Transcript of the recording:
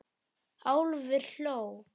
Álfur hló.